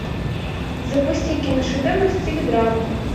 запусти киношедевр в стиле драмы